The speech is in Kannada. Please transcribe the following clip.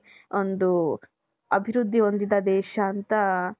ಒಂದು ಅಭಿವೃದ್ಧಿ ಹೊಂದಿದ ದೇಶ ಅಂತ .